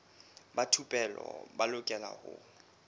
ba thupelo ba lokela ho